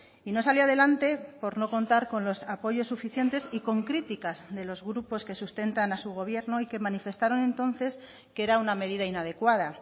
y no salió adelante por no contar con los apoyos suficientes y con críticas de los grupos que sustentan a su gobierno y que manifestaron entonces que era una medida inadecuada